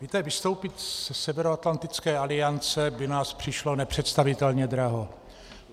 Víte, vystoupit ze Severoatlantické aliance by nás přišlo nepředstavitelně draho.